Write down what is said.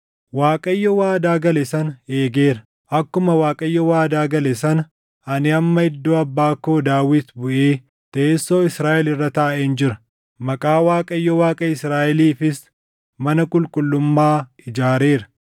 “ Waaqayyo waadaa gale sana eegeera; akkuma Waaqayyo waadaa gale sana ani amma iddoo abbaa koo Daawit buʼee teessoo Israaʼel irra taaʼeen jira; Maqaa Waaqayyo Waaqa Israaʼeliifis mana qulqullummaa ijaareera.